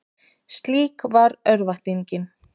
Slík var örvæntingin.